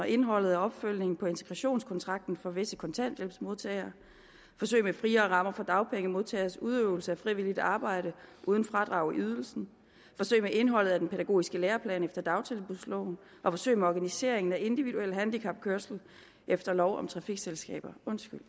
indholdet og opfølgningen på integrationskontrakten for visse kontanthjælpsmodtagere forsøg med friere rammer for dagpengemodtageres udøvelse af frivilligt arbejde uden fradrag i ydelsen forsøg med indholdet af den pædagogiske læreplan efter dagtilbudsloven og forsøg med organiseringen af individuel handicapkørsel efter lov om trafikselskaber